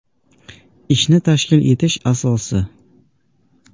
Ishni tashkil etish asosi.